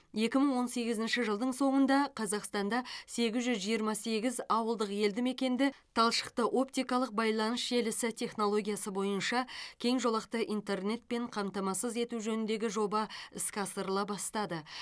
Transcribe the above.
екі мың он сегізінші жылдың соңында қазақстанда сегіз жүз жиырма сегіз ауылдық елдімекенді талшықты оптикалық байланыс желісі технологиясы бойынша кең жолақты интернетпен қамтамасыз ету жөніндегі жоба іске асырыла бастады